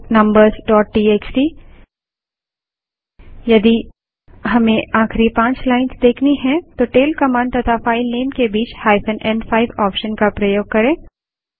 tail numbersटीएक्सटी यदि हमें आखिरी पाँच लाइन्स देखनी हैं तो टैल कमांड तथा फाइल नेम के बीच n5 ऑप्शन का प्रयोग करें